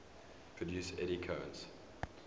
produce eddy currents